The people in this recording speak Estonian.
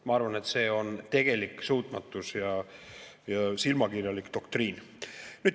Ma arvan, et see on tegelik suutmatus ja silmakirjalik doktriin.